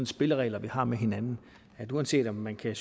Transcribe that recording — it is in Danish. spilleregler vi har med hinanden uanset om man kan